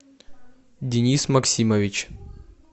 денис максимович